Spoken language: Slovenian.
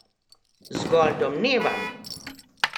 Zgolj domnevam!